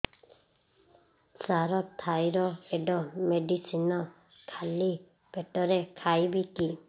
ସାର thyroid medicine ଖାଲି ପେଟରେ ଖାଇବି କି